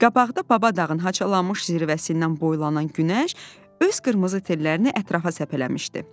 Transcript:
Qabaqda Baba dağın haçalanmış zirvəsindən boylanan günəş öz qırmızı tellərini ətrafa səpələmişdi.